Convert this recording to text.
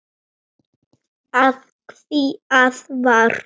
Af hverju læturðu svona Ásta?